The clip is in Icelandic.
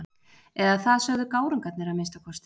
Eða það sögðu gárungarnir að minnsta kosti.